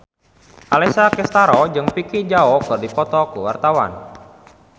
Alessia Cestaro jeung Vicki Zao keur dipoto ku wartawan